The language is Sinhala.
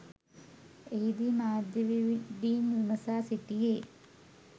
එහිදී මාධ්‍යවේදීන් විමසා සිටියේ